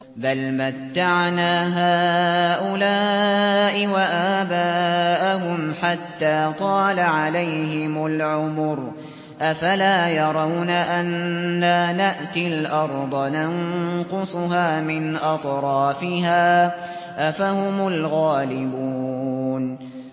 بَلْ مَتَّعْنَا هَٰؤُلَاءِ وَآبَاءَهُمْ حَتَّىٰ طَالَ عَلَيْهِمُ الْعُمُرُ ۗ أَفَلَا يَرَوْنَ أَنَّا نَأْتِي الْأَرْضَ نَنقُصُهَا مِنْ أَطْرَافِهَا ۚ أَفَهُمُ الْغَالِبُونَ